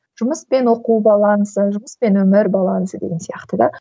жұмыс пен оқу балансы жұмыс пен өмір балансы деген сияқты да